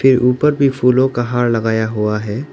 ये उपर भी फूलों का हार लगाया हुआ है।